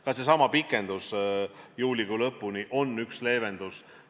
Ka seesama pikendus juulikuu lõpuni on üks leevendusi.